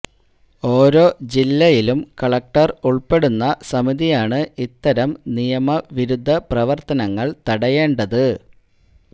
ഓരോ ജില്ലയിലും കളക്ടര് ഉള്പ്പെടുന്ന സമിതിയാണ് ഇത്തരം നിയമ വിരുദ്ധ പ്രവര്ത്തനങ്ങള് തടയേണ്ടത്